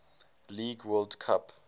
league world cup